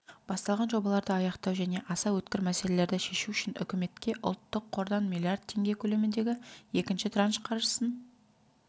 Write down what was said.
басталған жобаларды аяқтау және аса өткір мәселелерді шешу үшін үкіметке ұлттық қордан миллиард теңге көлеміндегі екінші транш қаржысын